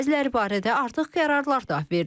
Bəziləri barədə artıq qərarlar da verilib.